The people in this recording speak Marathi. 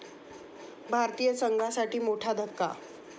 भारतीय संघासाठी मोठा धक्का!